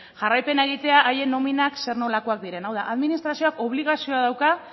jarraipena egitea haien nominak zer nolakoak diren hau da administrazioak obligazioa dauka